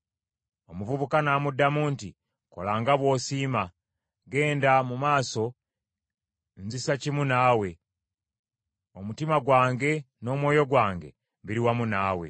Omuvubuka n’amuddamu nti, “Kola nga bw’osiima. Genda mu maaso, nzisa kimu naawe, omutima gwange n’omwoyo gwange biri wamu naawe.”